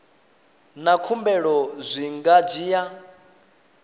na khumbelo zwi nga dzhia